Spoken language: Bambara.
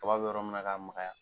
Kaba be yɔrɔmuna ka magaya